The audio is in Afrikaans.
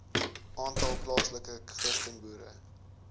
aantal plaaslike christenboere